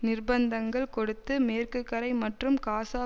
நிர்பந்தங்கள் கொடுத்து மேற்குக்கரை மற்றும் காசா